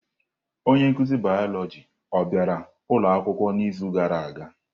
Onye nkuzi Bioloji bịara ụlọ akwụkwọ n'izu gara aga?